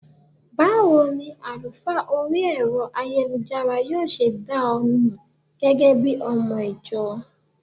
Báwo ni àlùfáà orí Ẹ̀rọ ayélujára yóò ṣe dá ọ mọ gẹ́gẹ́bí ọmọ - ìjọ?